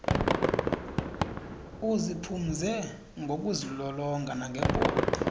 uziphumze ngokuzilolonga nangebhola